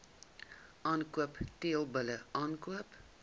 aankoop teelbulle aankoop